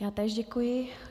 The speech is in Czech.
Já též děkuji.